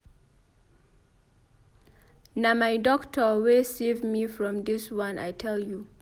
Na my doctor wey save me from dis one I tell you.